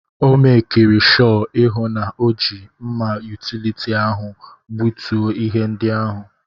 Ọ mekiri shọ ihụ na ọ ji mma yutility ahụ egbutu ihe ndị ahụ.